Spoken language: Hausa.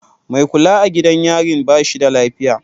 Mai kula a gidan yarin ba shi da lafiya.